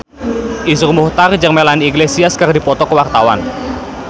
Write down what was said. Iszur Muchtar jeung Melanie Iglesias keur dipoto ku wartawan